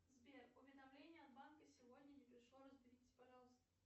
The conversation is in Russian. сбер уведомление от банка сегодня не пришло разберитесь пожалуйста